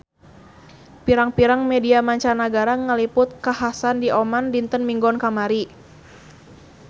Pirang-pirang media mancanagara ngaliput kakhasan di Oman dinten Minggon kamari